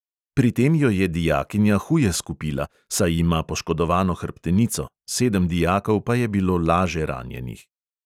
Pri tem jo je dijakinja huje skupila, saj ima poškodovano hrbtenico, sedem dijakov pa je bilo laže ranjenih.